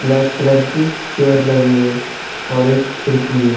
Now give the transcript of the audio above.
Black colour की chair लगी हुई है और एक खिड़की है।